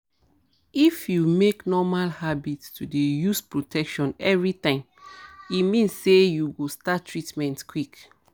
if you make normal habit to dey use protection everytime e mean say you go start treatment quick